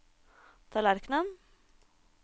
tallerkenen